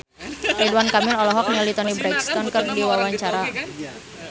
Ridwan Kamil olohok ningali Toni Brexton keur diwawancara